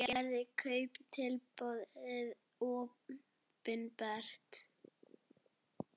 Hver gerði kauptilboðið opinbert